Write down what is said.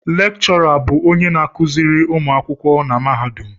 Lékchọrà bụ onye na-akụziri ụmụ akwụkwọ na mahadum